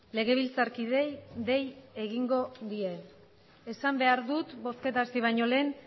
legebiltzarkideei dei egingo die esan behar dut bozketa hasi baino lehen